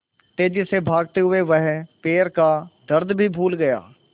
तेज़ी से भागते हुए वह पैर का दर्द भी भूल गया